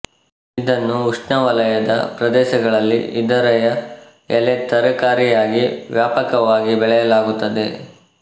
ಇದನ್ನು ಉಷ್ಣವಲಯದ ಪ್ರದೇಶಗಳಲ್ಲಿ ಇದರಯ ಎಲೆ ತರಕಾರಿಯಾಗಿ ವ್ಯಾಪಕವಾಗಿ ಬೆಳೆಯಲಾಗುತ್ತದೆ